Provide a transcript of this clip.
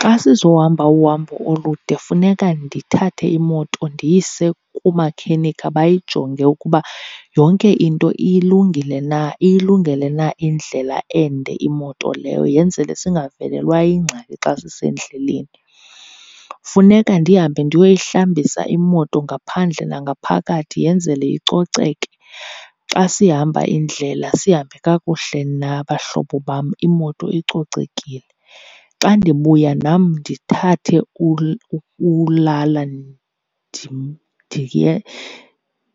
Xa sizohamba uhambo olude funeka ndithathe imoto ndiyise kumakhenikha bayijonge ukuba yonke into ilungile na, iyilungele na indlela ende imoto leyo, yenzele singavelwa yingxaki xa sisendleleni. Funeka ndihambe ndiyoyihlambisa imoto ngaphandle nangaphakathi yenzele icoceke, xa sihamba indlela sihambe kakuhle nabahlobo bam imoto icocekile. Xa ndibuya nam ndithathe ulala